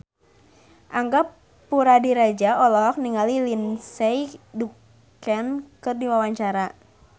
Angga Puradiredja olohok ningali Lindsay Ducan keur diwawancara